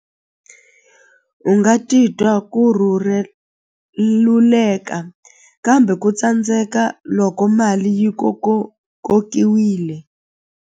U nga titwa ku kambe ku tsandzeka loko mali yi kokiwile.